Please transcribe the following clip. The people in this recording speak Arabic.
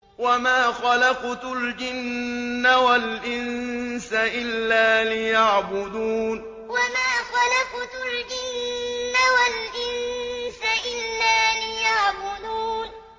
وَمَا خَلَقْتُ الْجِنَّ وَالْإِنسَ إِلَّا لِيَعْبُدُونِ وَمَا خَلَقْتُ الْجِنَّ وَالْإِنسَ إِلَّا لِيَعْبُدُونِ